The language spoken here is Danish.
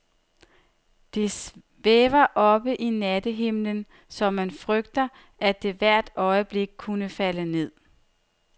Det svæver oppe i nattehimlen, så man frygter, at det hvert øjeblik kunne falde ned.